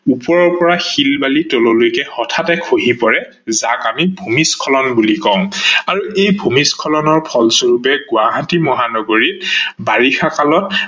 ওপৰৰ পৰা শিল বালি তললৈকে হঠাতে খহি পৰে যাক আমি ভূমিস্খলত বুলি কও। আৰু এই ভূমিস্খলনৰ ফল স্বৰূপে গুৱাহাটী মহানগৰীত বাৰিষা কালত